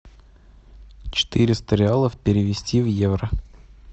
четыреста реалов перевести в евро